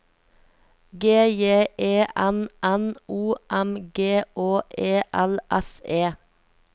G J E N N O M G Å E L S E